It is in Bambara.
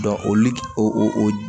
o